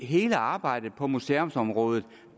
hele arbejdet på museumsområdet